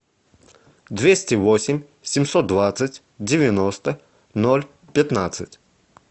двести восемь семьсот двадцать девяносто ноль пятнадцать